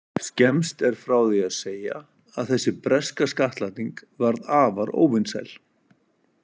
Skemmst er frá því að segja að þessi breska skattlagning varð afar óvinsæl.